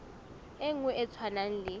e nngwe e tshwanang le